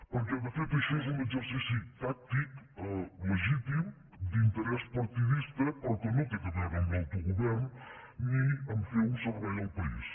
perquè de fet això és un exercici tàctic legítim d’interès partidista però que ni té a veure amb l’autogovern ni a fer un servei al país